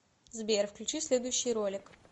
сбер включи следующий ролик